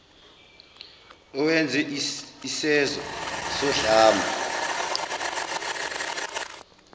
owenze isezo sodlame